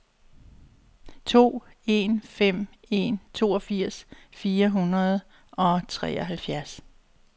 to en fem en toogfirs fire hundrede og treoghalvfems